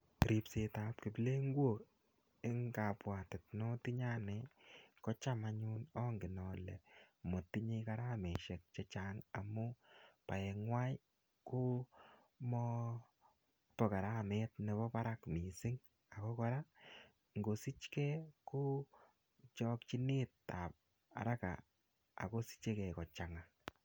Ripset ab kiplengok eng kabwatet notinye anne kocham anyun angen ale motiche gharamaisiek chechang amu baengwai komobo karamet nebo barak mising ago kora ngosich ke ko eng chokchinetab araka ago sichegei kochanga.